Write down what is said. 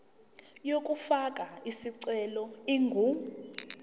yokufaka isicelo ingu